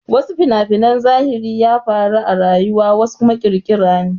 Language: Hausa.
Wasu fina-finan zahiri ya faru a rayuwa wasu kuma ƙirƙira ne.